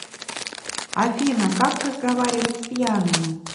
афина как разговаривать с пьяными